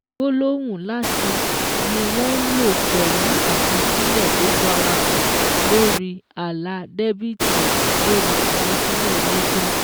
Gbólóhùn 'láti' ni wọ́n ń lò pẹ̀lú àkọsílẹ̀ tó farahàn lórí àlà dẹ́bìtì lórí àkọsílẹ̀ lẹ́jà.